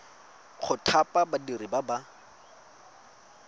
go thapa badiri ba ba